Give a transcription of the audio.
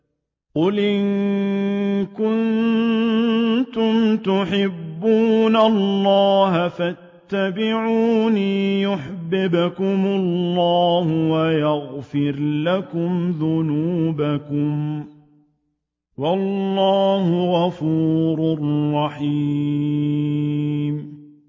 قُلْ إِن كُنتُمْ تُحِبُّونَ اللَّهَ فَاتَّبِعُونِي يُحْبِبْكُمُ اللَّهُ وَيَغْفِرْ لَكُمْ ذُنُوبَكُمْ ۗ وَاللَّهُ غَفُورٌ رَّحِيمٌ